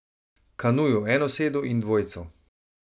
Kanuju enosedu in dvojcu.